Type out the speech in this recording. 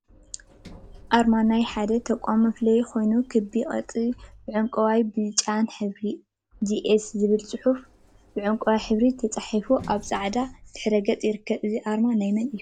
አርማ አርማ ናይ ሓደ ተቋም መፍለይ ኮይኑ፤ ክቢ ቅርፂ ብዕንቋይን ብጫን ሕብሪ ጂኤስ ዝብል ፅሑፍ ብዕንቋይ ሕብሪ ተፃሒፉ አብ ፃዕዳ ድሕረ ገፅ ይርከብ፡፡ እዚ አርማ ናይ መን እዩ?